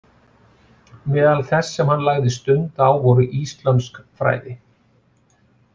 Meðal þess sem hann lagði stund á voru íslömsk fræði.